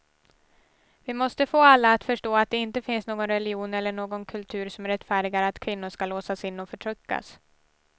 Vi måste få alla att förstå att det inte finns någon religion eller någon kultur som rättfärdigar att kvinnor ska låsas in och förtryckas.